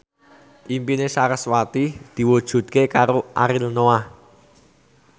impine sarasvati diwujudke karo Ariel Noah